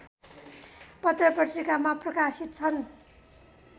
पत्रपत्रिकामा प्रकाशित छन्